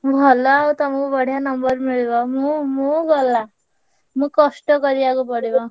ଭଲ ଆଉ ତମୁକୁ ବଢିଆ number ମିଳିବ ମୁଁ ମୁଁ ଗଲା ମୁଁ କଷ୍ଟ କରିଆକୁ ପଡିବ।